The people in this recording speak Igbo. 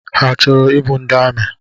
Ha chọrọ ịbụ ndị amị?